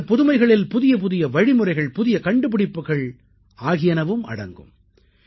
இந்தப் புதுமைகளில் புதியபுதிய வழிமுறைகள் புதிய கண்டுபிடிப்புகள் ஆகியனவும் அடங்கும்